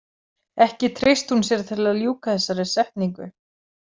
Ekki treysti hún sér til að ljúka þessari setningu.